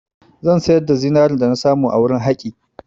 Zan sayar da zinarin dana samu a wurin haƙi.